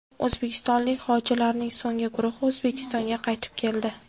O‘zbekistonlik hojilarning so‘nggi guruhi O‘zbekistonga qaytib keldi.